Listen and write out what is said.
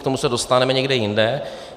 K tomu se dostaneme někde jinde.